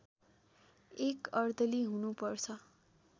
एक अर्दली हुनु पर्छ